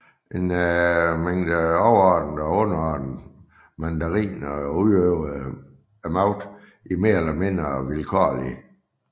En mængde overordnede og underordnede mandariner udøvede magten mer eller mindre vilkårlig